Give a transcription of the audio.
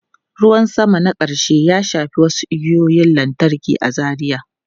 Ruwan sama na ƙarshe ya shafi wasu igiyoyin lantarki a Zaria.